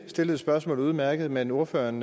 stillede spørgsmålet udmærket men ordføreren